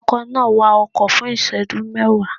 Ọkọ̀ náà wakọ̀ fún ìṣẹ́jú mẹ́wàá